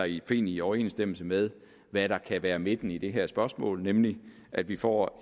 i overensstemmelse med hvad der kan være midten i det her spørgsmål nemlig at vi får